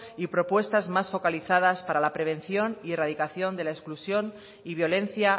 y propuestas más focalizadas para la prevención y erradicación de la exclusión y violencia